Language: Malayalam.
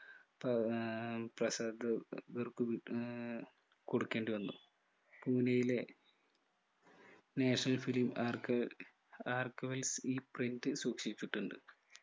പ ഏർ പസാ ആഹ് കൊടുക്കേണ്ടി വന്നു പൂനയിലെ national film ആർക്ക് ഈ print സൂക്ഷിച്ചിട്ടുണ്ട്